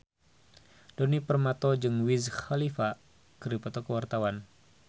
Djoni Permato jeung Wiz Khalifa keur dipoto ku wartawan